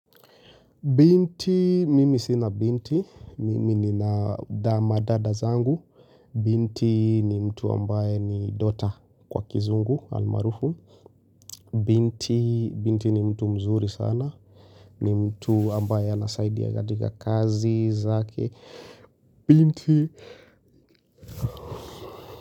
Binti, mimi sina binti. Mimi nina dama dada zangu. Binti ni mtu ambaye ni daughter kwa kizungu, almaarufu. Binti ni mtu mzuri sana. Ni mtu ambaye anasaidia katika kazi zake. Binti.